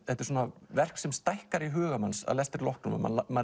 þetta er svona verk sem stækkar í huga manns að lestri loknum